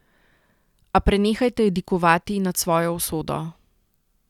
A prenehajte jadikovati nad svojo usodo.